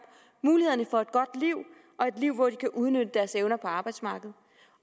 mulighederne for et godt liv og et liv hvor de kan udnytte deres evner på arbejdsmarkedet